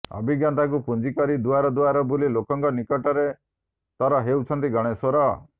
ଅଭିଜ୍ଞତାକୁ ପୁଞ୍ଜି କରି ଦୁଆର ଦୁଆର ବୁଲି ଲୋକଙ୍କ ନିକଟତର ହେଉଛନ୍ତି ଗଣେଶ୍ବର